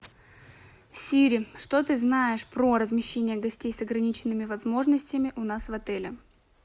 сири что ты знаешь про размещение гостей с ограниченными возможностями у нас в отеле